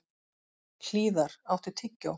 Hlíðar, áttu tyggjó?